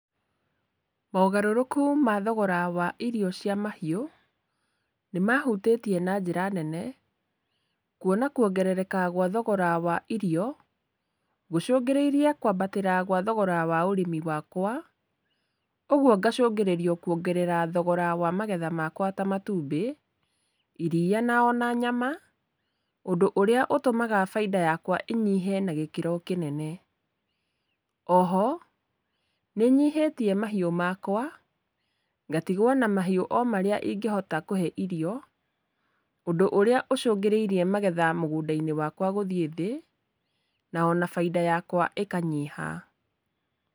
Mogarũrũku ma thogora wa irio cia mahiũ, nĩ mahutĩtie na njĩra nene, kuona kuongerereka gwa thogora wa irio, gũcũngĩrĩirie kwambatĩra wa thogora wa ũrĩmi wakwa, ũguo ngacungĩrĩrio kuongerera thogora wa magetha makwa ta matumbĩ, iriia ona nyama, ũndũ ũrĩa ũtũmaga bainda yakwa ĩnyihe na gĩkĩro kĩnene. Oho nĩnyihĩtie mahiũ makwa, ngatigwo na mahiũ o marĩa ingĩhota kũhe irio, ũndũ ũrĩa ũcungĩrĩirie magetha mũgũndainĩ wakwa gũthiĩ thĩ, na ona bainda yakwa ĩkanyiha.